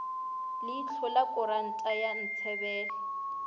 leihlo la kuranta ya ntshebele